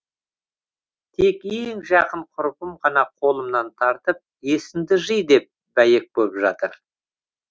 тек ең жақын құрбым ғана қолымнан тартып есіңді жи деп бәйек боп жатыр